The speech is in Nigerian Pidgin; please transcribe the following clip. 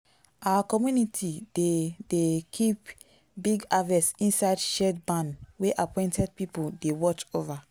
our community dey dey keep big harvest inside shared barn wey appointed people dey watch over.